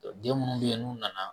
den munnu be yen n'u nana